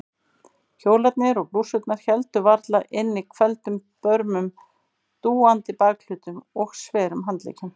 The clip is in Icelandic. Kjólarnir og blússurnar héldu varla inni hvelfdum börmum, dúandi bakhlutum og sverum handleggjum.